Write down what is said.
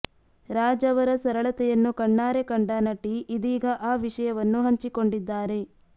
ರಾಜ್ ಅವರ ಸರಳತೆಯನ್ನು ಕಣ್ಣಾರೆ ಕಂಡ ನಟಿ ಇದೀಗ ಆ ವಿಷಯವನ್ನು ಹಂಚಿಕೊಂಡಿದ್ದಾರೆ